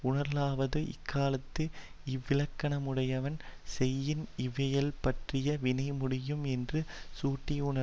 உணர்தலாவது இக்காலத்து இவ்விலக்கணமுடையான் செய்யின் இவ்வியல்பிற்றாய வினை முடியும் என்று கூட்டி உணர்தல்